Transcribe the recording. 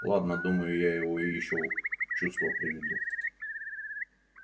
ладно думаю я его и ещё в чувство приведу